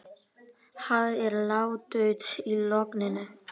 Þar má fá hreinan sjó við stöðugan hita allan ársins hring úr borholum.